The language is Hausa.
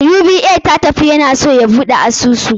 UBA ya tafi, ya na so ya buɗe asusu.